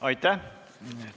Aitäh!